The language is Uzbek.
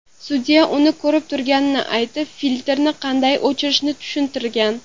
Sudya uni ko‘rib turganini aytib, filtrni qanday o‘chirishni tushuntirgan.